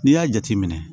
N'i y'a jateminɛ